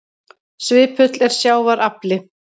Svipull er sjávar afli.